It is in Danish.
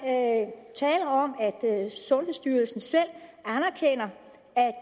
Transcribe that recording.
at sundhedsstyrelsen selv anerkender